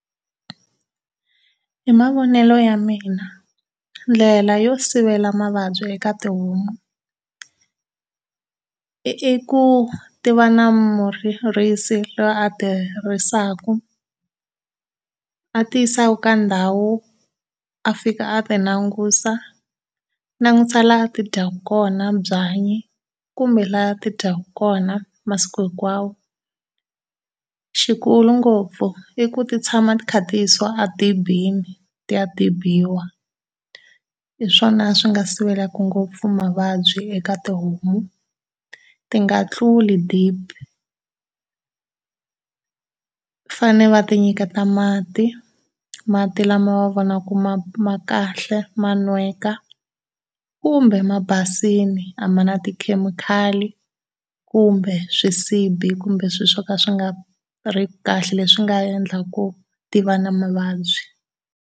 Hi mavonele ya mina ndlela yo sivela mavabyi eka tihomu iku ti va na murisi loyi a ti risaka ati yisa ka ndhawu a fika a ti langusa, langusa laha ti fyaka kona byanyi kumbe laha ti dyaka kona masiku hinkwawo. Xikulu ngopfu i ku ti tshama ti kha ti yisiwa edibini ti ya tibiwa, hi swona swi nga sivelaka ngopfu mavabyi eka tihomu, ti nga tluli dibi. Fane va ti nyiketa mati, mati lawa va wa vona ku ma ma kahle ma nweka kumbe ma basile, a ma na tikhemikhali kumbe swisibi kumbe swilo swo ka swi nga ri kahle leswi nga endlaka ku ti va na mavabyi.